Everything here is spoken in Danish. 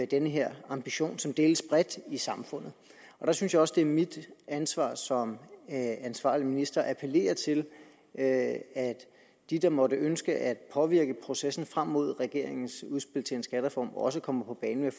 den her ambition som deles bredt i samfundet der synes jeg også det er mit ansvar som ansvarlig minister at appellere til at de der måtte ønske at påvirke processen frem mod regeringens udspil til en skattereform også kommer på banen